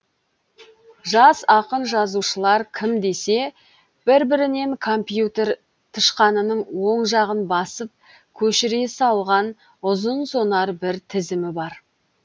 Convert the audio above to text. жас ақын жазушылар кім десе бір бірінен компьютер тышқанының оң жағын басып көшіре салған ұзын сонар бір тізімі бар